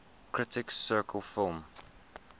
critics circle film